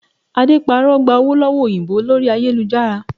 Ade parọ́ gba owó lọ́wọ́ òyìnbó lórí ayélujára